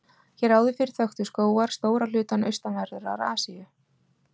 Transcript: Hér áður fyrr þöktu skógar stóran hluta austanverðrar Asíu.